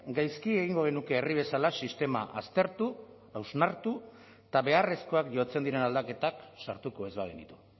gaizki egingo genuke herri bezala sistema aztertu hausnartu eta beharrezkoak jotzen diren aldaketak sartuko ez bagenitu